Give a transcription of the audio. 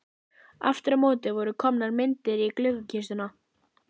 Aftur á móti voru komnar myndir í gluggakistuna.